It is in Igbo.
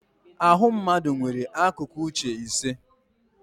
Ahụ mmadụ nwere akụkụ uche ise